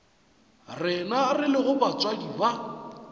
rena re lego batswadi ba